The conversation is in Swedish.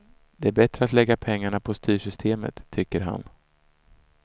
Det är bättre att lägga pengarna på styrsystemet, tycker han.